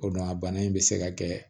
O don a bana in be se ka kɛ